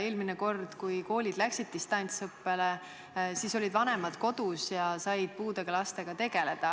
Eelmine kord, kui koolid läksid distantsõppele, olid vanemad kodus ja said puudega lastega tegeleda.